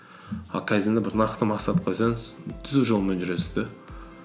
а кайдзенде бір нақты мақсат қойсаңыз түзу жолмен жүресіз де